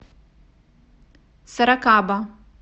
сорокаба